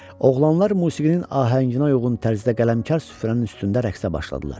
Oğlanlar musiqinin ahənginə uyğun tərzdə qələmkar süfrənin üstündə rəqsə başladılar.